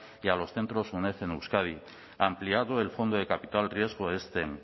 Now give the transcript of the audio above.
y a los centros uned en euskadi ampliado el fondo de capital riesgo scene